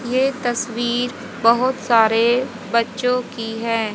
ये तस्वीर बहोत सारे बच्चों की है।